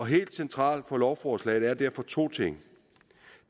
helt centralt på lovforslaget er derfor to ting